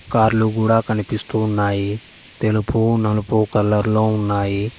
కార్లు గూడా కనిపిస్తూ ఉన్నాయి తెలుపు నలుపు కలర్ లో ఉన్నాయి.